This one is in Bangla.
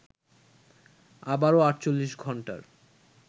আবারো ৪৮ ঘন্টার